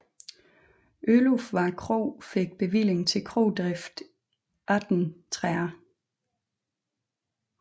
Ølufvad Kro fik bevilling til krodrift 1830